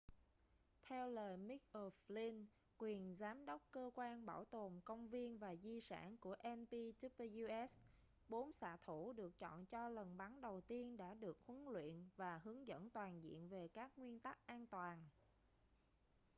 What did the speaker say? theo lời mick o'flynn quyền giám đốc cơ quan bảo tồn công viên và di sản của npws bốn xạ thủ được chọn cho lần bắn đầu tiên đã được huấn luyện và hướng dẫn toàn diện về các nguyên tắc an toàn